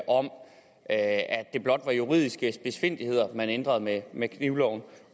om at det blot var juridiske spidsfindigheder man ændrede med med knivloven